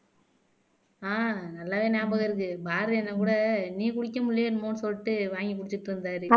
ஆஹ் நல்லாவே ஞாபகம் இருக்கு பாரதி அண்ணன் கூட நீ குடிக்க முடியலையோ என்னமோன்னு சொல்லிட்டு வாங்கி குடிச்சிட்டு இருந்தாரு